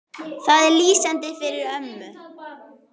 Það er lýsandi fyrir ömmu.